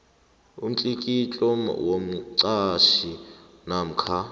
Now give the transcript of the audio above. umtlikitlo womqhatjhi namkha